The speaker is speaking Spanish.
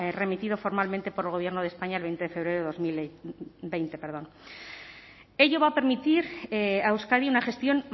remitido formalmente por el gobierno de españa el veinte de febrero de dos mil veinte ello va a permitir a euskadi una gestión